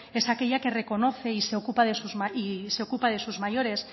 es aquella que reconoce y se ocupa de sus mayores